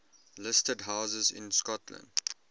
listed houses in scotland